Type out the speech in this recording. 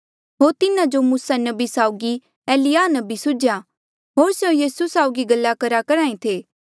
होर तिन्हा जो मूसा नबी साउगी एलिय्याह नबी सुझ्या होर स्यों यीसू साउगी गल्ला करेया करहा ऐें थे